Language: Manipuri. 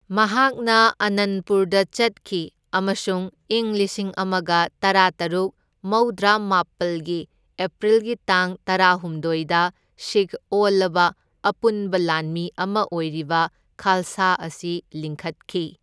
ꯃꯍꯥꯛꯅ ꯑꯥꯅꯟꯄꯨꯔꯗ ꯆꯠꯈꯤ ꯑꯃꯁꯨꯡ ꯏꯪ ꯂꯤꯁꯤꯡ ꯑꯃꯒ ꯇꯔꯥꯇꯔꯨꯛ ꯃꯧꯗ꯭ꯔꯥꯃꯥꯄꯜꯒꯤ ꯑꯦꯄ꯭ꯔꯤꯜꯒꯤ ꯇꯥꯡ ꯇꯔꯥꯍꯨꯝꯗꯣꯢꯗ ꯁꯤꯈ ꯑꯣꯜꯂꯕ ꯑꯄꯨꯟꯕ ꯂꯥꯟꯃꯤ ꯑꯃ ꯑꯣꯏꯔꯤꯕ ꯈꯥꯜꯁꯥ ꯑꯁꯤ ꯂꯤꯡꯈꯠꯈꯤ꯫